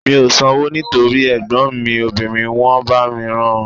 Mi ò sanwó nítorí ẹ̀gbọ́n mi obìnrin wọ́n bá mi rán an